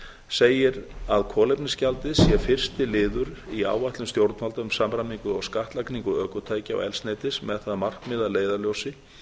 segir að kolefnisgjaldið sé fyrsti liður í áætlun stjórnvalda um samræmingu á á sekúndu í skattlagningu ökutækja og eldsneytis með það markmið að leiðarljósi